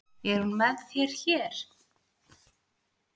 Er hún með þér hér?